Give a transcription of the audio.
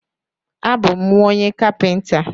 A bú m nwa onye kapinta